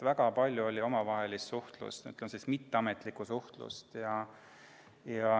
Väga palju oli omavahelist suhtlemist, sellist mitteametlikku suhtlemist.